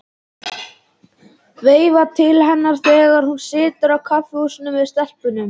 Veifa til hennar þegar hún situr á kaffihúsi með stelpunum.